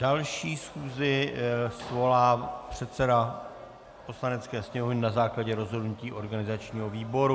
Další schůzi svolá předseda Poslanecké sněmovny na základě rozhodnutí organizačního výboru.